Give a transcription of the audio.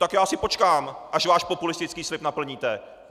Tak já si počkám, až váš populistický slib naplníte!